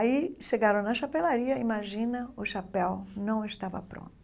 Aí chegaram na chapelaria, imagina, o chapéu não estava pronto.